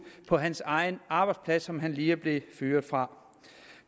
var hans egen arbejdsplads som han lige er blevet fyret fra